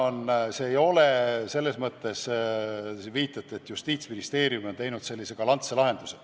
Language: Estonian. See ei ole nii, nagu te viitate, et Justiitsministeerium on leidnud sellise galantse lahenduse.